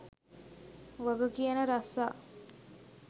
වග කියන රස්සා.